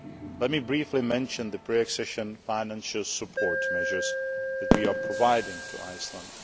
Let me briefly mention the pre accession financial support measures that we are providing to Iceland.